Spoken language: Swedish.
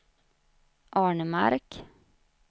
Arnemark